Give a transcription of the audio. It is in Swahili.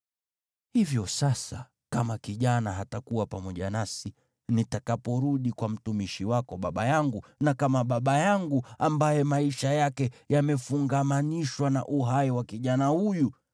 “Hivyo sasa, kama kijana hatakuwa pamoja nasi nitakaporudi kwa mtumishi wako baba yangu, na kama baba yangu, ambaye maisha yake yamefungamanishwa na uhai wa kijana huyu,